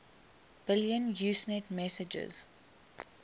billion usenet messages